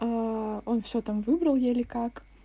а он всё там выбрал еле как